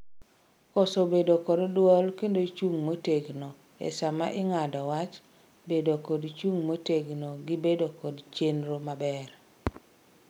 koso bedo kod duol kendo chung' motegno e sama ing'ado wach bedo kod chung' motegno gi bedo kod chenro maber